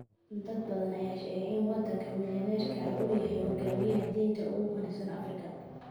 Dad badan ayaa sheegaya in wadaadka milyaneerka ah uu yahay hoggaamiyaha diinta ugu qanisan Afrika.